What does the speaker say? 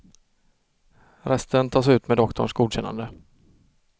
Resten tas ut med doktorns godkännande.